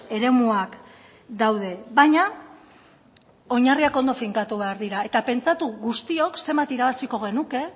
eremuak daude baina oinarriak ondo finkatu behar dira eta pentsatu guztiok zenbat irabaziko genuke